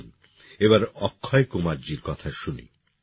আসুন এবার অক্ষয় কুমার জির কথা শুনি